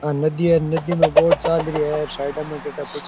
आ नदी है नदी में बोट चाल रो है --